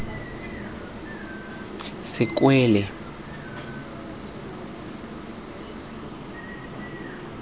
sekwele